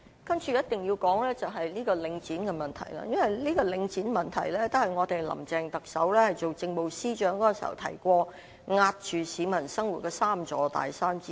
接着一定要說的是領展的問題，因為領展的問題是特首林鄭月娥出任政務司司長時所說令市民生活受壓的3座大山之一。